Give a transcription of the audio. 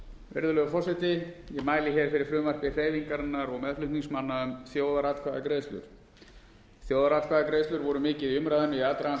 virðulegur forseti ég mæli hér fyrir frumvarpi hreyfingarinnar og meðflutningsmanna um þjóðaratkvæðagreiðslur þjóðaratkvæðagreiðslur voru mikið í umræðunni í aðdraganda